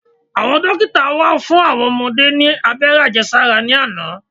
Àwọn dókítà wá fún àwọn ọmọdé ní abẹ́rẹ́ Àjẹsára ní àná.